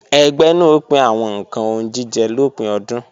Ẹgbẹ́ náà ó pín àwọn ǹkan oúnjíjẹ lópin ọdún